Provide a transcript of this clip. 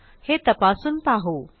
हे तपासून पाहू